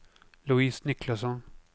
Louise Niklasson